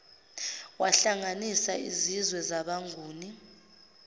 wahlanganisa izizwe zabenguni